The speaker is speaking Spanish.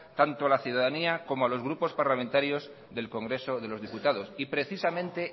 tanto a la ciudadanía como a los grupos parlamentarios del congreso de los diputados precisamente